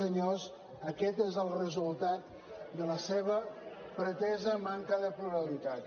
senyors aquest és el resultat de la seva pretesa manca de pluralitat